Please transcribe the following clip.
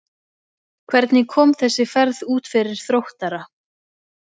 Hvernig kom þessi ferð út fyrir Þróttara?